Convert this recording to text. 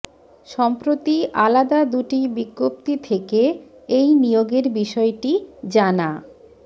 সম্প্রতি আলাদা দুটি বিজ্ঞপ্তি থেকে এই নিয়োগের বিষয়টি জানা